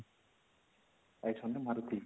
800 maruti